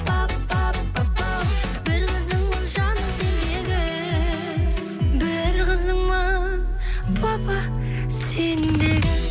пап пап папау бір қызыңмын жаным сендегі бір қызыңмын папа сендегі